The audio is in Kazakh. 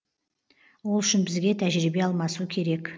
ол үшін бізге тәжірибе алмасу керек